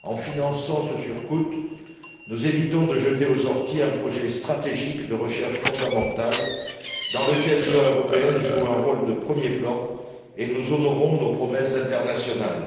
En finançant ce surcoût, nous évitons de jeter aux orties un projet stratégique de recherche fondamentale dans lequel l'Union européenne joue un rôle de premier plan et nous honorons nos promesses internationales.